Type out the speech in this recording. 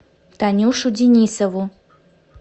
танюшу денисову